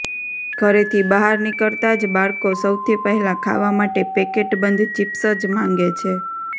ઘરેથી બહાર નીકળતા જ બાળકો સૌથી પહેલા ખાવા માટે પેકેટ બંધ ચિપ્સ જ માંગે છે